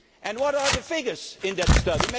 What are the figures in that study?